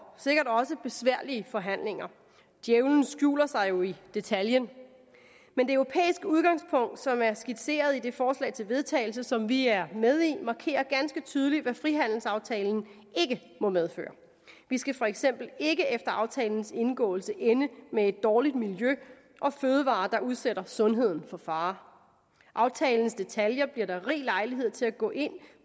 sikkert også besværlige forhandlinger djævelen skjuler sig jo i detaljen men det europæiske udgangspunkt som er skitseret i det forslag til vedtagelse som vi er med i markerer ganske tydeligt hvad frihandelsaftalen vi skal for eksempel ikke efter aftalens indgåelse ende med et dårligt miljø og fødevarer der udsætter sundheden for fare aftalens detaljer bliver der rig lejlighed til at gå ind